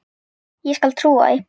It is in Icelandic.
Ég skal trúa því.